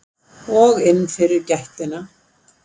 Og inn fyrir gættina.